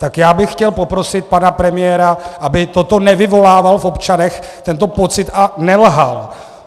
Tak já bych chtěl poprosit pana premiéra, aby toto nevyvolával v občanech, tento pocit, a nelhal.